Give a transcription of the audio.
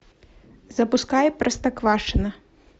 запускай простоквашино